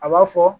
A b'a fɔ